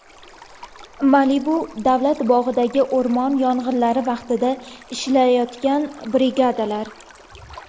Malibu davlat bog‘idagi o‘rmon yong‘inlari vaqtida ishlayotgan brigadalar.